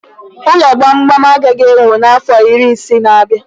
Ụlọ gbamgbam agaghị e wuu n'afọ iri ise n'abia.